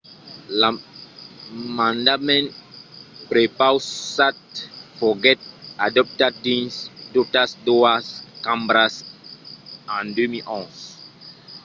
l'emendament prepausat foguèt adoptat dins totas doas cambras en 2011